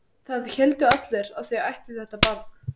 Það héldu allir að þau ættu þetta barn.